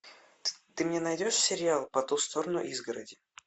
ты мне найдешь сериал по ту сторону изгороди